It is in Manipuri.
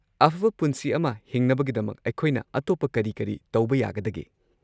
ꯑꯐꯕ ꯄꯨꯟꯁꯤ ꯑꯃ ꯍꯤꯡꯅꯕꯒꯤꯗꯃꯛ ꯑꯩꯈꯣꯏꯅ ꯑꯇꯣꯞꯄ ꯀꯔꯤ ꯀꯔꯤ ꯇꯧꯕ ꯌꯥꯒꯗꯒꯦ?